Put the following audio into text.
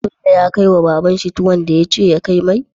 Bello ya kai wa baban shi tuwon da yace ya kai mai?